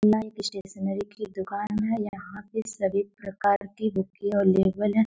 Life stationery की दुकान है यहां पे सभी प्रकार की बुके अवेलेबल है।